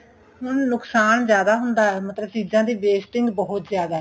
ਹੁਣ ਨੁਕਸ਼ਾਨ ਜਿਆਦਾ ਹੁੰਦਾ ਮਤਲਬ ਚੀਜਾਂ ਦੀ wasting ਬਹੁਤ ਜਿਆਦਾ